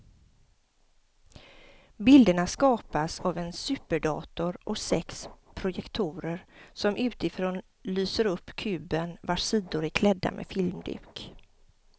Bilderna skapas av en superdator och sex projektorer som utifrån lyser upp kuben vars sidor är klädda med filmduk.